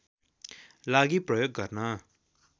लागि प्रयोग गर्न